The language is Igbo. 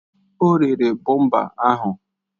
O rere bọmpa ahụ